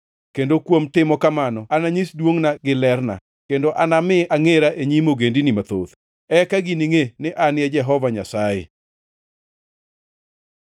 Kendo kuom timo kamano ananyis duongʼna gi lerna, kendo anami angʼera e nyim ogendini mathoth. Eka giningʼe ni An e Jehova Nyasaye.’